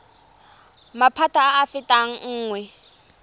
maphata a a fetang nngwe